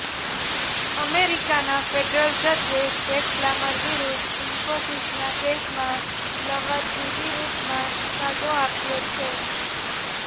અમેરિકાના ફેડરલ જજે Jack Palmer વિરુદ્ધ ઇન્ફોસિસના કેસમાં લવાદની વિરુદ્ધમાં ચુકાદો આપ્યો છે